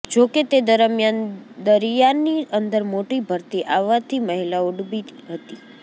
જોકે તે દરમિયાન દરિયાની અંદર મોટી ભરતી આવાથી મહિલાઓ ડૂબી હતી